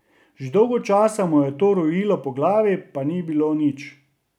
Že dolgo časa mu je to rojilo po glavi pa ni bilo nič.